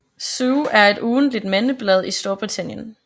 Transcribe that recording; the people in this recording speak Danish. Zoo er et ugentligt mandeblad i Storbritannien